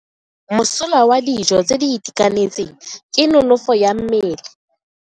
Mosola wa dijo tse di itekanetseng ke nonofo ya mmele.